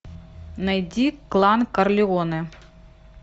найди клан корлеоне